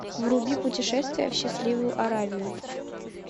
вруби путешествие в счастливую аравию